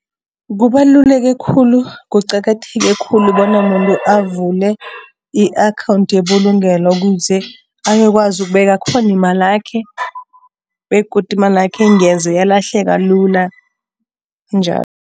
Kubaluleke khulu, kuqakatheke khulu bona umuntu avule i-akhawundi yebulungelo ukuze ayokwazi ukubeka khona imalakhe begodu imalakhe ngeze yalahleka lula njalo.